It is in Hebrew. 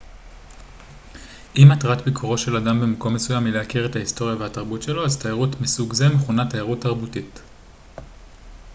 אם מטרת ביקורו של אדם במקום מסוים היא להכיר את ההיסטוריה והתרבות שלו אז תיירות מסוג זה מכונה תיירות תרבותית